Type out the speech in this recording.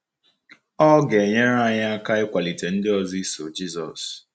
Ọ ga-enyere anyị aka ịkwalite ndị ọzọ iso Jisọs.